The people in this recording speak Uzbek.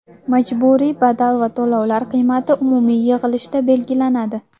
Majburiy badal va to‘lovlar qiymati umumiy yig‘ilishda belgilanadi.